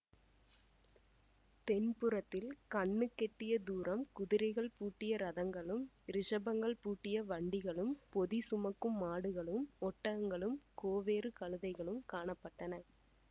தென்புறத்தில் கண்ணுக்கெட்டிய தூரம் குதிரைகள் பூட்டிய ரதங்களும் ரிஷபங்கள் பூட்டிய வண்டிகளும் பொதி சுமக்கும் மாடுகளும் ஒட்டகங்களும் கோவேறு கழுதைகளும் காண பட்டன